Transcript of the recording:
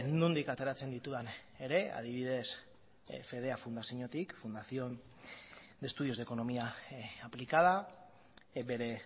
nondik ateratzen ditudan ere adibidez fedea fundaziotik fundación de estudios de economía aplicada bere